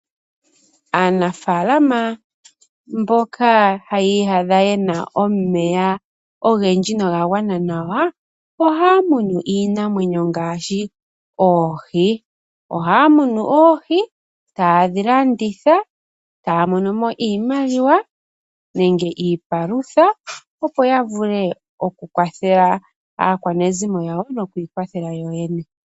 Aanafaalama mboka haya iyadha yena omeya ogendji nogagwana nawa, ohaya munu iinamwenyo ngaashi oohi . Ohaya munu oohi, etayedhi landitha, etaya monomo iimaliwa nenge iipalutha opo yavule okukwathela aakwanezimo lyawo nokwiikwathela yoyene.